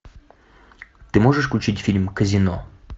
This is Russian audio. ты можешь включить фильм казино